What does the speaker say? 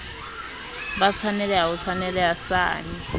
ba tshwaneleha ho tshwaneleha sane